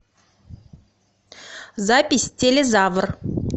запись телезавр